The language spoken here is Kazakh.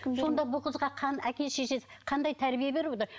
сонда бұл қызға әке шешесі қандай тәрбие беріп отыр